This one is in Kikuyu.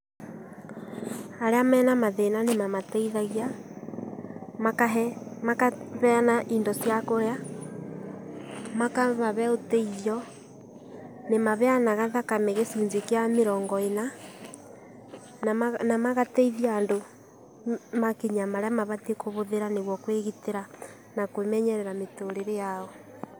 Arĩa mena mathĩna nĩmamateithagia, makaheyana indo cia kũrĩa, makamahe ũteithio. Nĩmaheyanaga thakame gĩcunjĩ kĩa mĩrongo ĩna na magateithia andũ makinya marĩa mabatie kũhũthĩra nĩgetha kwĩgitĩra na kwĩmenyerera mĩtũrĩre yao.